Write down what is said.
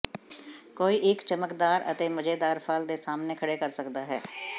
ਕੋਈ ਇੱਕ ਚਮਕਦਾਰ ਅਤੇ ਮਜ਼ੇਦਾਰ ਫਲ ਦੇ ਸਾਹਮਣੇ ਖੜ੍ਹੇ ਕਰ ਸਕਦਾ ਹੈ